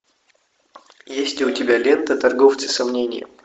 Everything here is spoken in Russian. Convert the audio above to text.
есть ли у тебя лента торговцы сомнением